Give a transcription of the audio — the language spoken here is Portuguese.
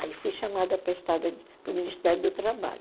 Aí fui chamada para o Ministério do Trabalho.